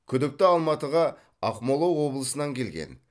күдікті алматыға ақмола облысынан келген